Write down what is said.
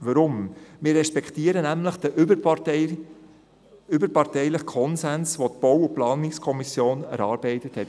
Weshalb? – Wir respektieren nämlich den überparteilichen Konsens, der in der BaK erarbeitet wurde.